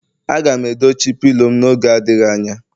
Aga m edochi pilo m n'oge adịghị anya